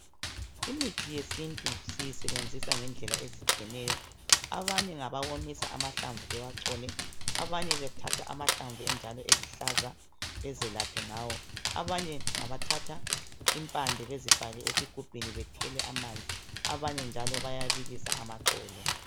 Imithi yesintu siyisebenzisa ngedlela ezitshiyeneyo abanye ngabawomisa amahlamvu bewachole abanye bathatha amahlamvu enjalo eluhlaza bezelaphe ngawo abanye ngabathatha impande bezifake ezigubhini bethele amanzi abanye bayabilisa amaxolo